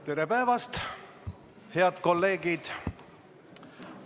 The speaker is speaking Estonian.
Tere päevast, head kolleegid!